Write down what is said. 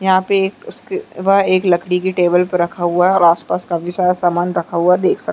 यहाँ पर उसके वह एक लकड़ी की टेबल पर रखा हुआ है और आसपास काफी सारा सामान रखा हुआ देख सकते है।